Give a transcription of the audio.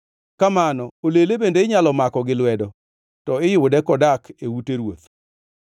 Kamano olele bende inyalo mako gi lwedo, to iyude kodak e ute ruoth.